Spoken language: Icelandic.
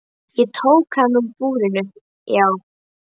Ég tók hann úr búrinu, já.